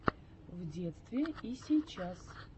в детстве и сейчас